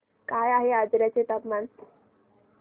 काय आहे आजर्याचे तापमान